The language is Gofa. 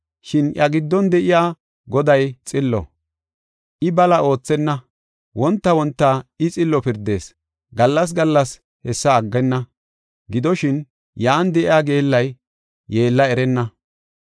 Shin iya giddon de7iya Goday xillo; I bala oothenna. Wonta wonta I xillo pirdees; gallas gallas hessa aggenna. Gidoshin, yan de7iya geellay yeella erenna.